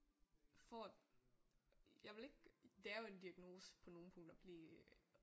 Får jeg vil ikke det er jo en diagnose på nogle punkter at blive